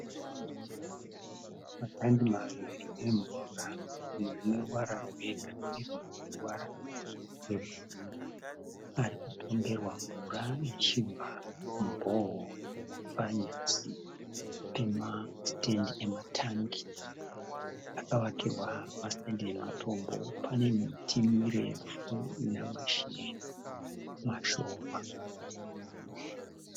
Matangi maviri emvura. Rimwe rine ruvara rwe girinhi rimwe rine ruvara rwe bhuruu. Ari kupomberwa mvura ichibva mu bore hole. Panyasi pema stand ema tank akavakirwa ma stand ematombo, pane miti mirefu ina mashizha mashoma.